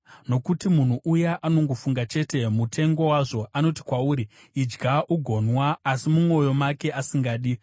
nokuti munhu uya anongofunga chete mutengo wazvo. Anoti kwauri, “Idya ugonwa,” asi mumwoyo make asingadi.